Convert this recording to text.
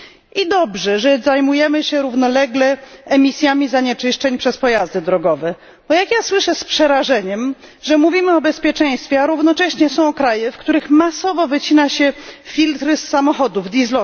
I dobrze, że zajmujemy się równolegle emisjami zanieczyszczeń przez pojazdy drogowe. Bo, jak słyszę z przerażeniem, my mówimy o bezpieczeństwie, a równocześnie są kraje, w których masowo wycina się filtry z samochodów np.